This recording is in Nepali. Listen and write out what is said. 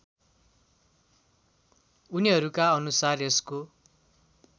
उनीहरूका अनुसार यसको